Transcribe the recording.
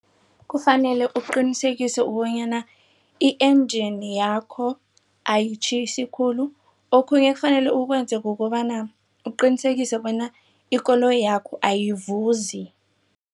Kufanele uqinisekise ukubonyana i-enjini yakho ayitjhisi khulu. Okhunye okufanele ukwenze kukobana uqinisekise bona ikoloyi yakho ayivuzi.